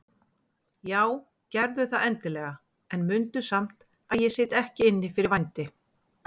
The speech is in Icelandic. Já gerðu það endilega en mundu samt að ég sit ekki inni fyrir vændi.